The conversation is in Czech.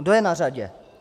Kdo je na řadě?